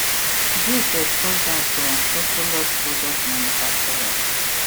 dis expose am to unscrupulous product manufacturers